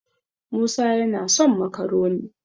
musa yana son makaroni